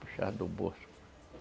Puxava do bolso.